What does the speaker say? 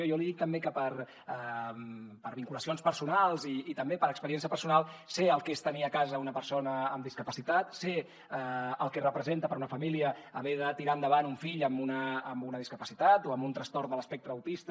i jo li dic també que per vinculacions personals i també per experiència personal sé el que és tenir a casa una persona amb discapacitat sé el que representa per a una família haver de tirar endavant un fill amb una discapacitat o amb un trastorn de l’espectre autista